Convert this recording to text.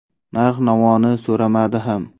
Narx-navoni so‘ramadi ham.